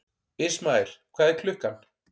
Ismael, hvað er klukkan?